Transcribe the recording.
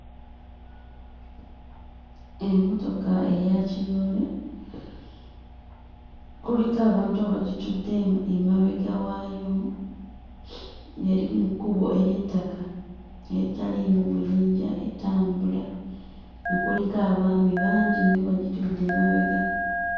Emmotoka eya kiroole kuliko abantu abagitudde e emabega waayo eri mu kkubo ery'ettaka eritaliimu buyinja etambula kuliko abaami bangi nnyo bagitudde emabega.